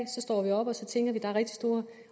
der er rigtig store